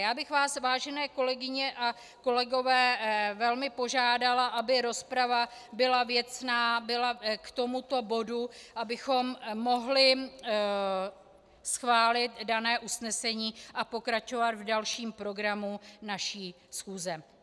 Já bych vás, vážené kolegyně a kolegové, velmi požádala, aby rozprava byla věcná, byla k tomuto bodu, abychom mohli schválit dané usnesení a pokračovat v dalším programu naší schůze.